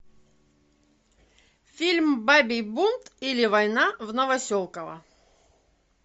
фильм бабий бунт или война в новоселково